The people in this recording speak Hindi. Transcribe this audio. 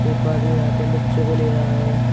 एक आदमी हाथ में बच्चे को ले रहा है।